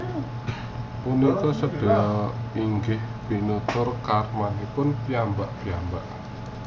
Punika sedaya inggih miturut karmanipun piyambak piyambak